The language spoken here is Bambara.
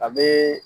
A bɛ